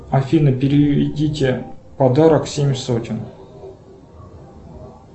афина переведите в подарок семь сотен